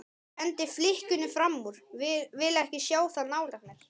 Ég hendi flikkinu framúr, vil ekki sjá það nálægt mér.